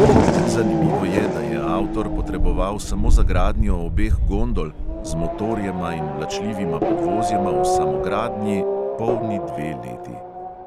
Zanimivo je, da je avtor potreboval samo za gradnjo obeh gondol z motorjema in vlačljivima podvozjema v samogradnji polni dve leti.